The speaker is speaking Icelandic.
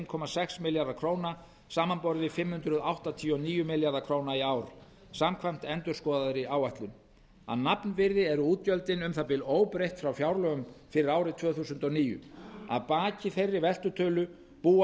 komma sex milljarðar króna samanborið við fimm hundruð áttatíu og níu milljarða króna í ár samkvæmt endurskoðaðri áætlun að nafnvirði eru útgjöldin um það bil óbreytt frá fjárlögum fyrir árið tvö þúsund og níu að baki þeirri veltutölu búa